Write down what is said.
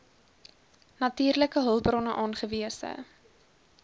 natuurlike hulpbronne aangewese